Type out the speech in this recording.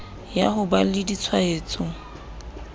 ya ho ba le ditshwaetso